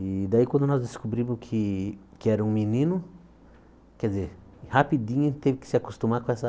E daí quando nós descobrimos que que era um menino, quer dizer, rapidinho teve que se acostumar com essa